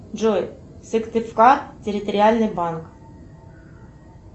джой сыктывкар территориальный банк